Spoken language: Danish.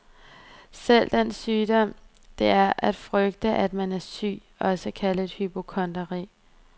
Selv den sygdom det er at frygte at man er syg, også kaldet hypokondri.